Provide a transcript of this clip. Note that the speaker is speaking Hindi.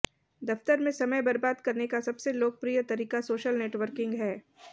दफ्तर में समय बरबाद करने का सबसे लोकप्रिय तरीका सोशल नेटवर्किंग है